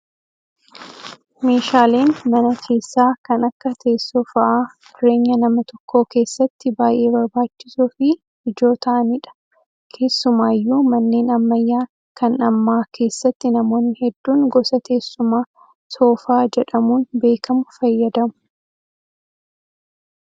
Meeshaaleen mana keessaa kan akka teessoo fa'aa jireenya nama tokkoo keessatti baay'ee barbaachisoo fi ijoo ta'anidha. Keessumaayyuu manneen ammayyaa kan ammaa keessatti namoonni hedduun gosa teessuma soofaa jedhamuun beekamu fayyadamu.